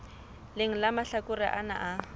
leng la mahlakore ana a